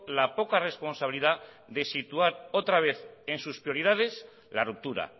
la poca responsabilidad de situar otra vez en sus prioridades la ruptura